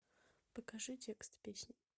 покажи текст песни